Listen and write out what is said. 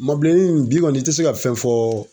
Mɔgɔ bilennin nunnu bi kɔni i te se ka fɛn fɔ